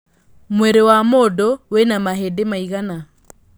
mwĩri wa mũndũ wĩna mahĩndi maigana